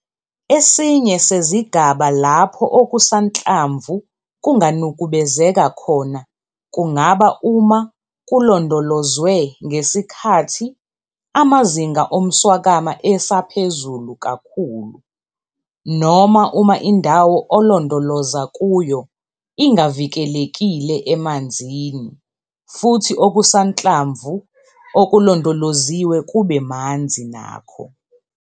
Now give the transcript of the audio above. Esinye sezigaba lapho okusanhlamvu kunganukubezeka khona kungaba uma kulondolozwe ngesikhathi amazinga omswakama esaphezulu kakhulu noma uma indawo olondoloza kuyo ingavikelekile emanzini futhi okusanhlamvu okulondoloziwe kube manzi nakho.